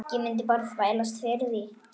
Ég mundi bara þvælast fyrir.